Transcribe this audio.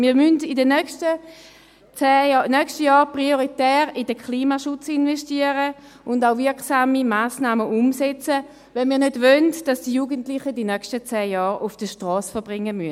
Wir müssen in den nächsten Jahren prioritär in den Klimaschutz investieren und auch wirksame Massnahmen umsetzen, wenn wir nicht wollen, dass die Jugendlichen die nächsten zehn Jahre auf der Strasse verbringen müssen.